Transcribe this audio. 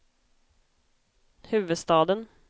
huvudstaden